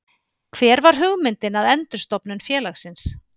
Hver var hugmyndin að endurstofnun félagsins?